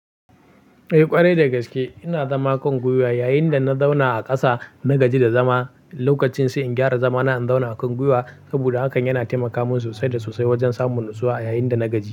Eh ƙwarai dagaske ina zama kan gwiwa yayinda na zauna a ƙasa na gaji da zama. Lokacin sai in gyara zama na in zauna kan gwiwa saboda hakan yana taimaka min sosai da sosai wajan samun natsuwa yayinda na gaji.